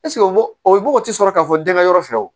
o mɔgɔ tɛ sɔrɔ k'a fɔ denkɛ yɔrɔ fɛ wo